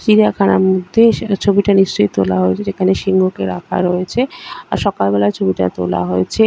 চিড়িয়াখানার মধ্যে সেটা ছবিটা নিশ্চই তোলা হয়েছে যেখানে সিংহ কে রাখা রয়েছে আর সকালবেলা ছবিটা তোলা হয়েছে।